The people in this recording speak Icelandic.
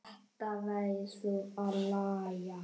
Þetta verður að laga.